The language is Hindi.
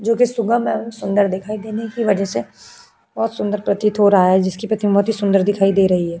जो सुबह का सुंदर दिखाई देने की वजह से बहुत सुंदर प्रतीत हो रहा है। जिसकी प्रतिम बहुत सुंदर दिखाई दे रही है।